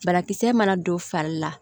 Banakisɛ mana don fari la